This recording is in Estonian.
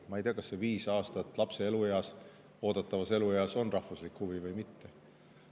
Ma ei tea, kas see lapse viis aastat oodatav eluiga on rahvuslik huvi või mitte.